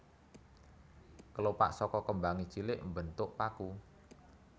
Kelopak saka kembangé cilik mbentuk paku